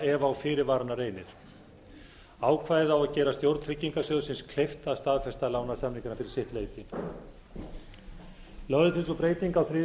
ef á fyrirvarana reynir ákvæðið á að gera stjórn tryggingarsjóðsins kleift að staðfesta lánasamningana fyrir sitt leyti lögð er til sú breyting á þriðju grein